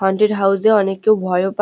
haunted house -এ অনেকেও ভয়ও পা --